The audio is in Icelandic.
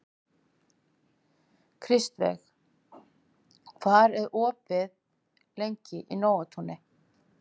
Kristveig, hvað er opið lengi í Nóatúni?